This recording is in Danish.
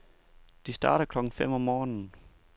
De starter klokken fem om morgenen.